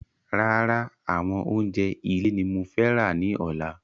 Rárá àwọn oúnjẹ ilé ní mo fẹ́ ra ní ọ̀la